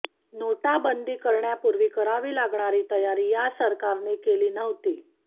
नोटाबंदी करण्यापूर्वी करावी लागणारी तयारी या सरकारने केली नव्हती